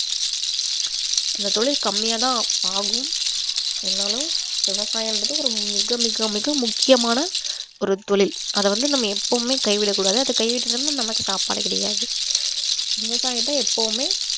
அந்த தொழில் கம்மியா தான் ஆகும் இருந்தாலும் விவசாயம்ன்றது ஒரு மிக மிக மிக முக்கியமான ஒரு தொழில் அத வந்து நம்ம எப்பவுமே கைவிடக்கூடாது அந்த கைவிட்டுட்டோம்னா நமக்கு சாப்பாடு கிடையாது விவசாயம் தான் எப்பவுமே